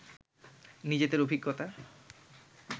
নিজেদের অভিজ্ঞতা